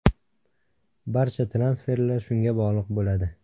Barcha transferlar shunga bog‘liq bo‘ladi.